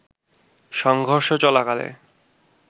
সংঘর্ষ চলাকালে